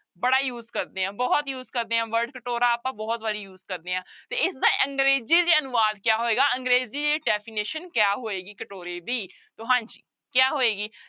ਬੜਾ use ਕਰਦੇ ਹਾਂ ਬਹੁਤ use ਕਰਦੇ ਹਾਂ word ਕਟੋਰਾ ਆਪਾਂ ਬਹੁਤ ਵਾਰੀ use ਕਰਦੇ ਹਾਂ ਤੇ ਇਸਦਾ ਅੰਗਰੇਜ਼ੀ ਚ ਅਨੁਵਾਦ ਕਿਆ ਹੋਏਗਾ ਅੰਗਰੇਜ਼ੀ definition ਕਿਆ ਹੋਏਗੀ ਕਟੋਰੇ ਦੀ, ਤੋ ਹਾਂਜੀ ਕਿਆ ਹੋਏਗੀ?